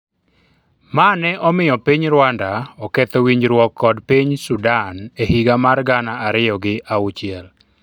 mane omiyo piny Rwanda oketho winjruok kod piny Sudan e higa mar gana ariyo gi auchiel